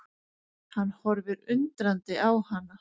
Hann horfir undrandi á hana.